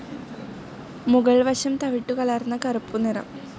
മുകൾ വശം തവിട്ടുകലർന്ന കറുപ്പുനിറം.